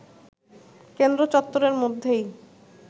কেন্দ্র চত্বরের মধ্যেই